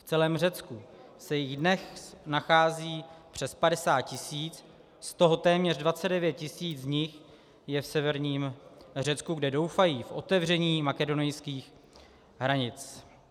V celém Řecku se jich dnes nachází přes 50 tisíc, z toho téměř 29 tisíc z nich je v severním Řecku, kde doufají v otevření makedonských hranic.